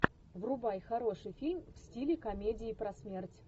врубай хороший фильм в стиле комедии про смерть